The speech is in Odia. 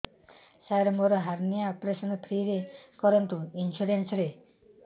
ସାର ମୋର ହାରନିଆ ଅପେରସନ ଫ୍ରି ରେ କରନ୍ତୁ ଇନ୍ସୁରେନ୍ସ ରେ